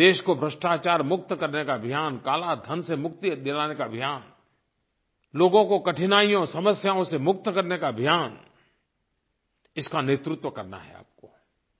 देश को भ्रष्टाचार मुक्त करने का अभियान कालाधन से मुक्ति दिलाने का अभियान लोगों को कठिनाइयोंसमस्याओं से मुक्त करने का अभियान इसका नेतृत्व करना है आपको